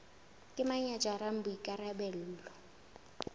ke mang ya jarang boikarabelo